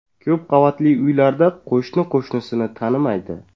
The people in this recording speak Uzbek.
Ko‘p qavatli uylarda qo‘shni qo‘shnisini tanimaydi.